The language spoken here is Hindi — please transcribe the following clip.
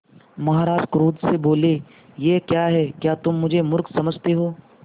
महाराज क्रोध से बोले यह क्या है क्या तुम मुझे मुर्ख समझते हो